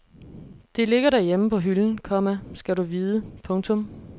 Det ligger derhjemme på hylden, komma skal du vide. punktum